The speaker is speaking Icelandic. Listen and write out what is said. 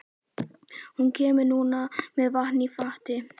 Hún kemur núna með vatn í fati.